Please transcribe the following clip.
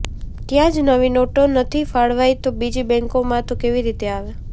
ત્યાં જ નવી નોટો નથી ફાળવાઇ તો બીજી બેંકોમાં તો કેવી રીતે આવે